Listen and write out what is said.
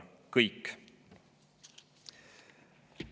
Kõik!